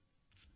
வணக்கம்